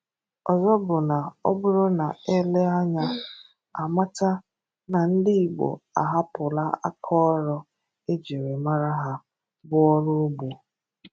Ọ́zọ̀ bụ na ọ bụrụ na è leè anya á mata na ndi Igbo ahapụla áká ọrụ e jiri mara ha bụ ọrụ ugbo